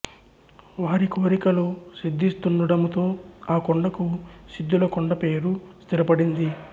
వారి కోరికలు సిద్ధిస్తుండడముతో ఆ కొండకు సిద్ధుల కొండ పేరు స్థిరపడింది